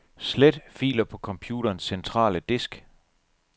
Slet filer på computerens centrale disk.